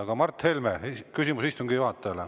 Aga Mart Helme, küsimus istungi juhatajale.